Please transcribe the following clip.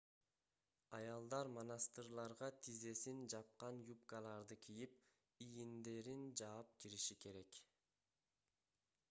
аялдар монастырларга тизесин жапкан юбкаларды кийип ийиндерин жаап кириши керек